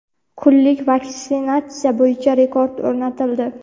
kunlik vaksinatsiya bo‘yicha rekord o‘rnatildi.